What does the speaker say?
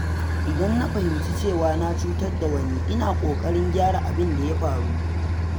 Idan na fahimci cewa na cutar da wani, ina ƙoƙarin gyara abin da ya faru.